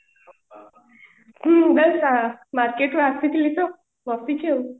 ମୁଁ just market ରୁ ଆସିଥିଲି ତ ବସିଛି ଆଉ